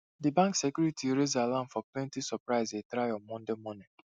di bank security raise alarm for plenty surprisie try on monday morning